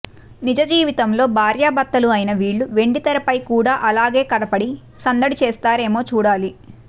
నిజ జీవితంలో భార్య భర్తలు అయిన వీళ్ళు వెండితెరపై కూడా అలాగే కనపడి సందడి చేస్తారేమో చూడాలి